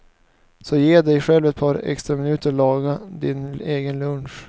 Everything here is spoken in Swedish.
Så ge dig själv ett par extra minuter och laga din egen lunch.